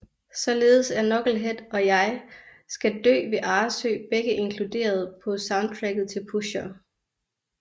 Således er Knucklehead og Jeg skal Dø ved Arresø begge inkluderet på soundtracket til Pusher